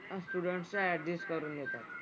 मग students ला adjust करून घेतात.